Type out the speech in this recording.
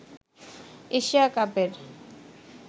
Asia কাপের